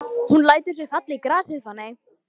Hún lætur sig falla í grasið.